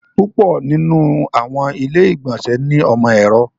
Púpọ̀ nínu àwọn ilẹ̀-ìgbọ̀nsẹ̀ ni ọmọ èrò.